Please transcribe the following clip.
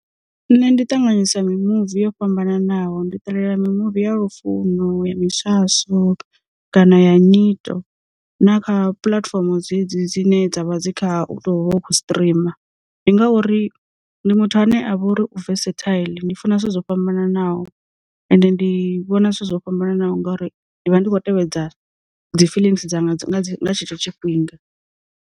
Nṋe ndi ṱanganyisa mi muvi yo fhambananaho ndi ṱalalela mi muvi ya lufuno, ya miswaswo, kana ya nyito. Na kha puḽatifomo dzedzi dzine dzavha dzi kha u to hu vha u khou streamer, ndi ngauri ndi muthu ane a vha uri u vesethaiḽi ndi funa zwithu zwo fhambananaho end ndi vhona zwithu zwo fhambanaho ngori ndi vha ndi khou tevhedza dzi feelings dzanga nga tshetsho tshifhinga.